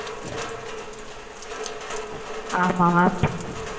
ஆம mam